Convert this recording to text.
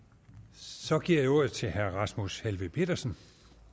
så giver jeg ordet til herre rasmus helveg petersen